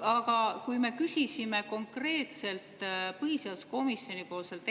Aga me küsisime põhiseaduskomisjoni